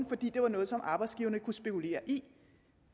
fordi det var noget som arbejdsgiverne kunne spekulere i